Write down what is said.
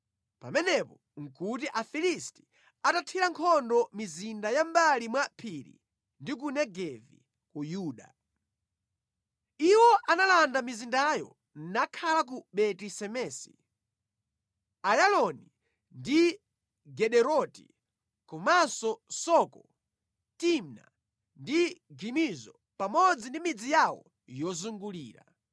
Pamenepo nʼkuti Afilisti atathira nkhondo mizinda ya mʼmbali mwa phiri ndi ku Negevi ku Yuda. Iwo analanda mizindayo nakhala ku Beti-Semesi, Ayaloni ndi Gederoti, komanso Soko, Timna ndi Gimizo pamodzi ndi midzi yawo yozungulira.